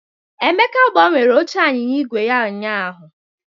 Emeka gbanwere oche anyịnya igwe ya ụnyaahụ.